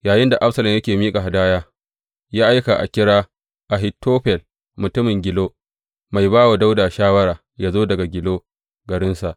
Yayinda Absalom yake miƙa hadaya, ya aika a kira Ahitofel mutumin Gilo, mai ba wa Dawuda shawara, yă zo daga Gilo garinsa.